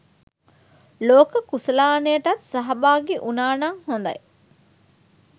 ලෝක කුසලානයටත් සහභාගී උනානං හොඳයි.